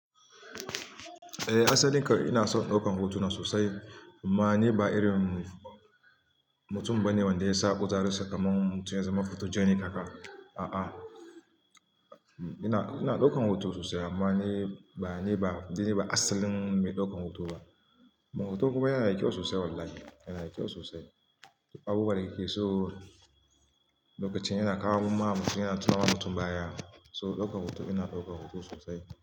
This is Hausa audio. Eh asalin kanlm ina son daukar hotuna sosai. Amma ni ba irin mutum ba ne wanda ya sa kutaren sa kaman mutum ya zama photogenic haka. A'a, ina daukan hoto sosai. Ma ni ba, ni ba asalin mai daukan hoto ba. Hoton kuma yana da kyau sosai wallahi, yana da kyau sosai. Abubuwa da kike so lokacin yana kawo muku ma'amusi yana tura mutum baya. So daukan hoto ina daukan hoto sosai.